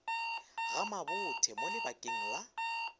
ga mabothe mo lebakeng la